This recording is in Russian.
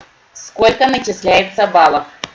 сколько начисляется баллов